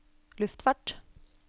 luftfart